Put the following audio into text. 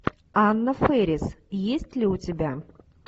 анна фэрис есть ли у тебя